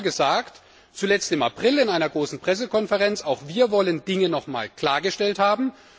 Wir haben immer gesagt zuletzt im April in einer großen Pressekonferenz auch wir wollen Dinge noch einmal klargestellt haben.